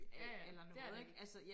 Ja ja det er det ikke